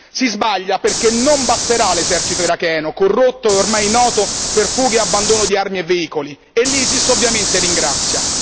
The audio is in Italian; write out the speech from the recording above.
Si sbaglia perché non basterà l'esercito iracheno, corrotto e ormai noto per fughe e abbandono di armi e veicoli, e l'ISIS ovviamente ringrazia.